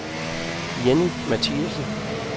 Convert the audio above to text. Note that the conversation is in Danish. Jenny Matthiesen